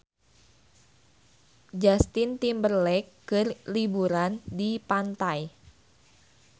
Justin Timberlake keur liburan di pantai